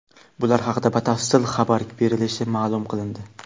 Bular haqida batafsil xabar berilishi ma’lum qilindi.